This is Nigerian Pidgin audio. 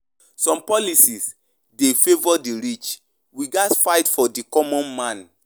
Some policies dey favor di rich; we gatz fight for di common man.